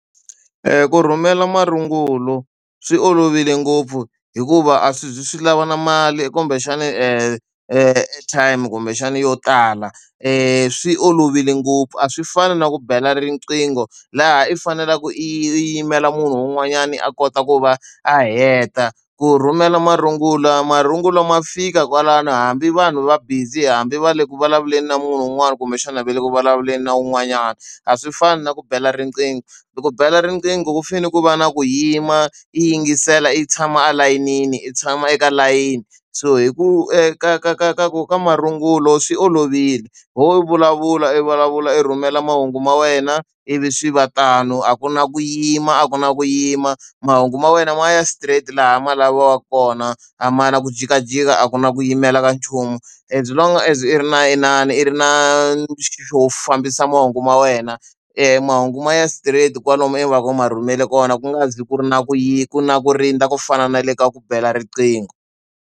Ku rhumela marungulo swi olovile ngopfu hikuva a swi zi swi lava na mali kumbexani airtime-i kumbexani yo tala, swi olovile ngopfu. A swi fani na ku bela riqingho, laha i faneleke i i yimela munhu un'wanyani a kota ku va a heta. Ku rhumela marungulo, marungulo ma fika kwalano hambi vanhu va busy, hambi va le ku vulavuleni na munhu wun'wani kumbexana a va le ku vulavuleni na un'wanyana. A swi fani na ku bela riqingho. E ku bela riqingho ku fanele ku va na ku yima, i yingisela, i tshama elayinini, i tshama eka layini. So hi ku eka ka ka ka ka ka marungulo swi olovile, ho vulavula i vulavula i rhumela mahungu ma wena, ivi swi va tano. A ku na ku yima a ku na ku yima mahungu ma wena ma ya straight laha ma laviwaka kona, a ma na ku jikajika a ku na ku yimela ka nchumu. As long as i ri na inani i ri na xo fambisa mahungu ma wena mahungu ma ya straight kwalomu ivi va ka ma rhumele kona ku nga zi ku ri na ku ku na ku rindza ku fana na le ka ku bela riqingho.